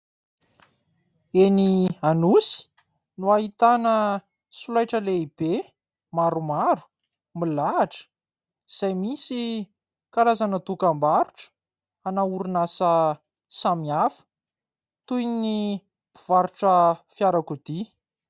Eny anosy no ahitana solaitra lehibe maromaro milahatra izay misy karazana dokambarotra ana orinasa samihafa toy ny mpivarotra fiarakodia.